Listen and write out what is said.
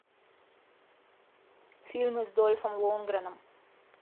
фильмы с дольфом лундгреном